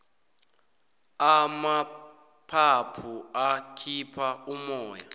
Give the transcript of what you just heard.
amaphaphu akhipha umoya